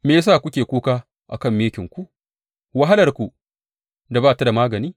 Me ya sa kuke kuka a kan mikinku, wahalarku da ba ta da magani?